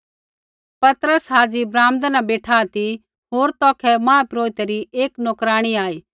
पतरस हाज़ी ब्राम्दै न बेठा ती होर तौखै महापुरोहितै री एक नोकराणी आई